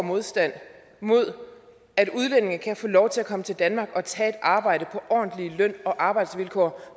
modstand mod at udlændinge kan få lov til at komme til danmark og tage et arbejde ordentlige løn og arbejdsvilkår